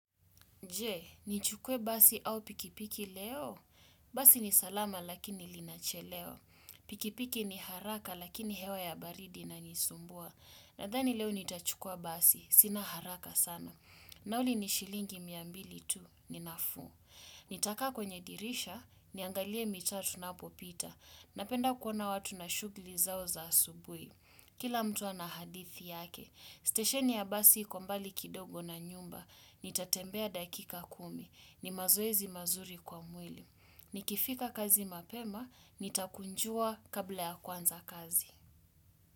Je, nichukuwe basi au pikipiki leo? Basi ni salama lakini linachelewa. Pikipiki ni haraka lakini hewa ya baridi inanisumbua. Nadhani leo nitachukuwa Basi, sina haraka sana. Nauli ni shilingi mia mbili tu, ninafuu. Nitakaa kwenye dirisha, niangalie mitaa tunapopita. Napenda kuona watu na shughuli zao za asubui. Kila mtu anahadithi yake. Stesheni ya Basi iko mbali kidogo na nyumba. Nitatembea dakika kumi ni mazoezi mazuri kwa mwili Nikifika kazi mapema Nitakunjua kabla ya kuwanza kazi.